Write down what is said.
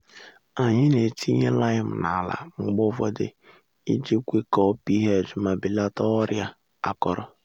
anyị na-etinye lime n’ala mgbe ụfọdụ iji kwekọọ ph ma belata ọrịa akọrọ